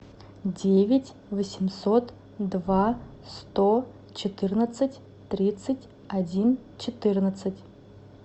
девять восемьсот два сто четырнадцать тридцать один четырнадцать